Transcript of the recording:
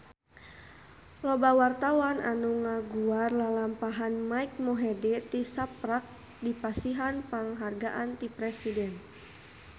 Loba wartawan anu ngaguar lalampahan Mike Mohede tisaprak dipasihan panghargaan ti Presiden